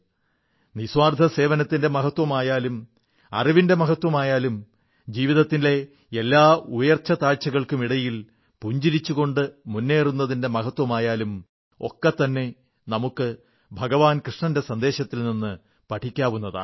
നിസ്വാർഥ സേവനത്തിന്റെ മഹത്വമായാലും അറിവിന്റെ മഹത്വമായാലും ജീവിതത്തിലെ എല്ലാ ഉയർച്ചതാഴ്ചകൾക്കുമിടിയിൽ പുഞ്ചിരിച്ചുകൊണ്ട് മുേന്നറുന്നതിന്റെ മഹത്വമായാലും ഒക്കെത്തന്നെ നമുക്ക് ഭഗവാൻ കൃഷ്ണന്റെ സന്ദേശത്തിൽ നിന്ന് പഠിക്കാവുന്നതാണ്